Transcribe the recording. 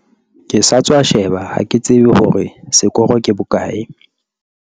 ke sa tswa sheba ha ke tsebe hore sekoro ke bokae